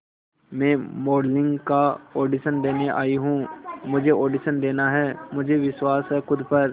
मैं मॉडलिंग का ऑडिशन देने आई हूं मुझे ऑडिशन देना है मुझे विश्वास है खुद पर